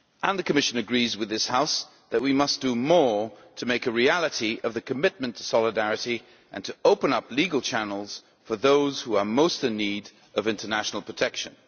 The Commission agrees with this House that we must do more to make a reality of the commitment to solidarity and to open up legal channels for those who are most in need of international protection.